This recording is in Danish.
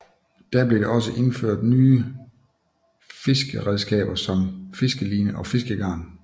Da blev det også indført nye fiskeredskaber som fiskeline og fiskegarn